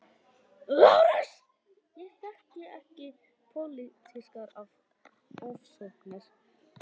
LÁRUS: Ég þekki ekki pólitískar ofsóknir.